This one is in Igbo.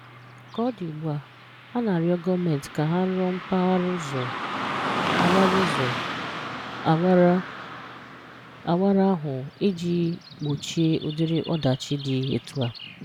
Ka ọ dị ugbua, a na-arịọ gọọmenti ka ha rụọ mpaghara ụzọ awara ụzọ awara awara ahụ iji gbochie ụdịrị ọdachi dị etu a.